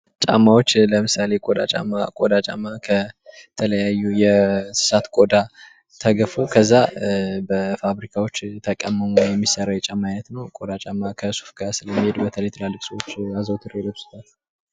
ጫማዎች ለምሳሌ የቆዳ ጫማ የቆዳ ጫማ በተለያዩ የእንስሳት ቆዳ ተግፎ በፋብሪካዎች ተቀምሞ የሚሰራ የጫማ ዓይነት ነው ።ከሱፍ ካልሲ ጋር የሚሄድ በተለይ ትላልቅ ሰዎች አዘውትረው ይለብሱታል።